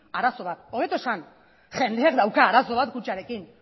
arazo bat hobeto esanda jendeak dauka arazo bat kutxarekin